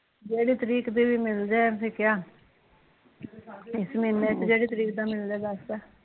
ਜਿਹੜੀ ਤਰੀਕ ਦੀ ਵੀ ਮਿਲ ਜਾਣ , ਇਸ ਮਹੀਨੇ ਜਿਹੜੀ ਤਰੀਕ ਦਾ ਮਿਲਜੇ ਬੈਸਟ ਆ